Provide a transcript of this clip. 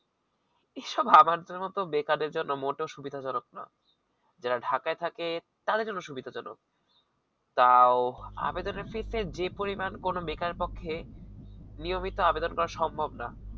এসব আমাদের মত বেকারদের জন্য মোটেও সুবিধাজনক না যারা ঢাকায় থাকে তাদের জন্য সুবিধা জনক তাও আবেদনের fees যে পরিমাণ কোন বেকারের পক্ষে নিয়মিত আবেদন বা সম্ভাবনা